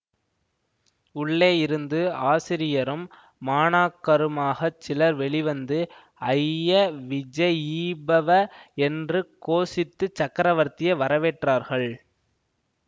உள்ளேயிருந்து ஆசிரியரும் மாணாக்கருமாகச் சிலர் வெளிவந்து ஜய விஜயீபவ என்று கோஷித்து சக்கரவர்த்தியை வரவேற்றார்கள்